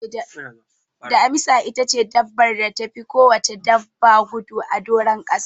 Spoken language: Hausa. Damisa itace dabbar da tafi kowacce dabba gudu a doron kasa.